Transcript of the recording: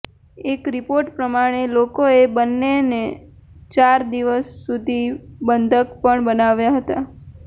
એક રિપોર્ટ પ્રમાણે લોકોએ બંનેને ચાર દિવસ સુધી બંધક પણ બનાવ્યા હતા